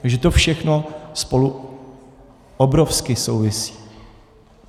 Takže to všechno spolu obrovsky souvisí.